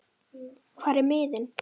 hvar eru miðin?